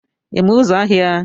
ị ma ụzọ ahịa